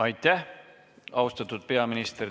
Aitäh, austatud peaminister!